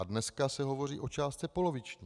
A dneska se hovoří o částce poloviční.